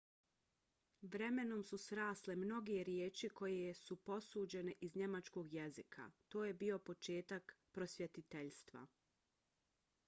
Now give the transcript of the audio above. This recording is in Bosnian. vremenom su srasle mnoge riječi koje su posuđene iz njemačkog jezika. to je bio početak prosvjetiteljstva